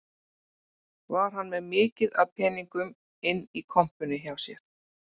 Var hann með mikið af peningum inni í kompunni hjá sér